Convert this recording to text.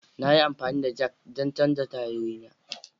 Na yi amfani da jack don canza tayoyina.